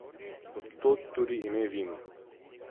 Od tod tudi ime vinu.